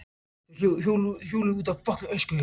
Þeir hjóluðu út á öskuhauga.